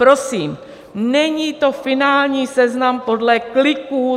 Prosím, není to finální seznam podle kliků.